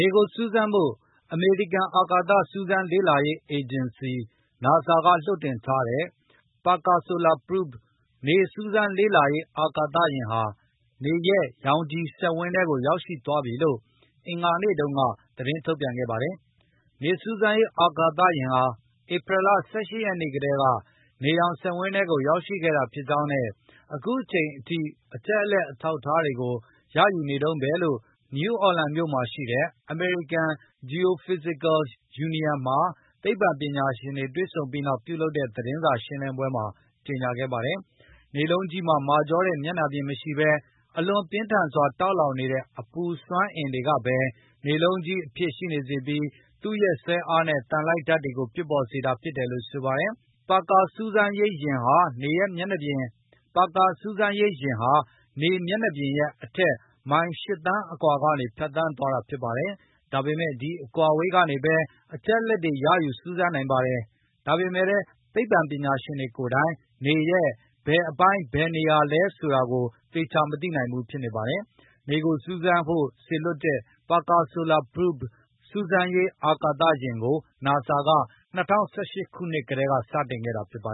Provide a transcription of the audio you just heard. ေကိုစူးစမ်းဖို့ အမေရိကန်အာကာသစူးစမ်းလေ့လောရေးအေဂျင်စီ NASA က လွှတ်တင် ထားတဲ့ Parker Solar Probe နေစူးစမ်းရေးအာကာသယဉ်ဟာ နေရဲ့ရောင်ခြည်စက်ဝန်းထဲကို ရောက်ရှိသွားပြီလို့ အင်္ဂါနေ့တုန်းက သတင်းထုတ်ပြန်ခဲ့ပါတယ်။ နေစူးစမ်းရေး အာကာသယဉ်ဟာ ဧပြီလ ၁၈ ရက်နေ့ကတည်းက နေရောင်စက်ဝန်းထဲကို ရောက်ရှိခဲ့တာဖြစ်ကြောင်းနဲ့ အခုအချိန်အထိအချက်အလက်အထောက်အထားတွေကို ရယူနေတုန်းဘဲလို့ နယူးအော်လန်ပြည်နယ်မှာရှိတဲ့ American Geophysical Union မှာသိပ္ပံပညာရှင်တွေ တွေ့ဆုံပြီးနောက်ပြုလုပ်တဲ့သတင်းစာရှင်းလင်းပွဲမှာကြေငြာခဲ့တာပါ။ နေလုံးကြီးမှာမာကြောတဲ့မျက်နှာပြင်မရှိဘဲ အလွန်ပြင်းထန်စွာတောက်လောင်နေတဲ့အပူစွမ်းအင်တွေကဘဲ နေလုံးကြီးအဖြစ်ရှိနေစေပြီး သူ့ရဲ့ စွဲအားနဲ့ သံလိုက်ဓာတ်တွေကို ဖြစ်ပေါ်စေတာ ဖြစ်တယ်လို့ဆိုပါတယ်။ Parker စူးစမ်းရေးယဉ်ဟာ နေမျက်နှာပြင်ရဲ့ အထက် မိုင် ၈ သန်းအကွာကနေ ဖြတ်သန်းသွားတာဖြစ်ပါတယ်။ ဒါပေမယ့် ဒီအကွာအဝေးကနေဘဲ အချက်အလက်တွေရယူ စူးစမ်းနိုင်ပါတယ်။ ဒါပေမယ့်လည်း သိပ္ပပညာရှင်တွေကိုယ်တိုင် နေရဲ့ဘယ်အပိုင်းဘယ်နေရာလဲ ဆိုတာကိုသေခြာမသိနိုင်ဘူးဖြစ်နေပါတယ်။ နေကိုစူးစမ်းဖို့စေလွှတ်တဲ့ Parker Solar Probe စူးစမ်းရေး အာဏာသယဉ်ကို NASA က ၂၀၁၈ ခုနှစ်ကတည်းကစတင်ခဲ့တာပါ